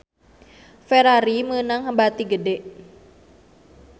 Ferrari meunang bati gede